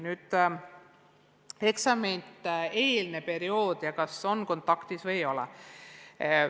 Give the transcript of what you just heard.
Nüüd küsimus eksamite-eelsest perioodist ja sellest, kas on kontaktõpet või ei ole.